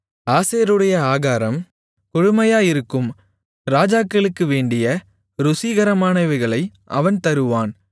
ஆசேருடைய ஆகாரம் கொழுமையாயிருக்கும் ராஜாக்களுக்கு வேண்டிய ருசிகரமானவைகளை அவன் தருவான்